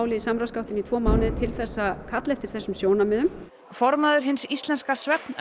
í samráðsgáttinni í tvo mánuði til að kalla eftir þessum sjónarmiðum formaður Hins íslenska